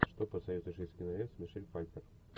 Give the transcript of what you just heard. что посоветуешь из кинолент с мишель пфайфер